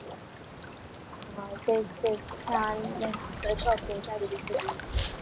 हम्म तेच तेच छान